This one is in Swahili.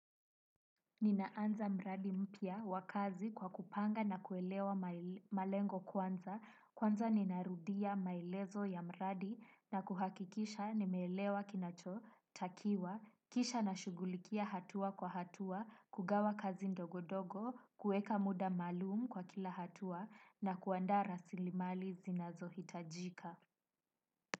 Ninaanza mradi mpya wa kazi kwa kupanga na kuelewa maelezo malengo kwanza, kwanza ninarudia maelezo ya mradi na kuhakikisha nimeelewa kinachotakiwa, kisha na shughulikia hatua kwa hatua, kugawa kazi ndogo ndogo, kueka muda maalum kwa kila hatua na kuandaa rasilimali zinazohitajika.